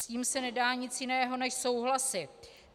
S tím se nedá nic jiného než souhlasit.